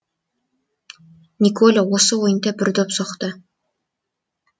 николя осы ойында бір доп соқты